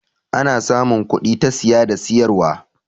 ana samun kudi ta siye da siyarwa